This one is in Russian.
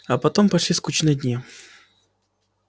а потом пошли скучные дни